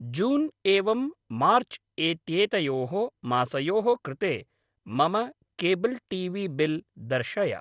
जून् एवं मार्च् एत्येतयोः मासयोः कृते मम केब्ल् टी वी बिल् दर्शय।